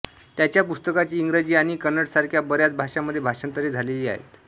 त्यांच्या पुस्तकांची इंग्रजी आणि कन्नडसारख्या बऱ्याच भाषांमध्ये भाषांतरे झालेली आहेत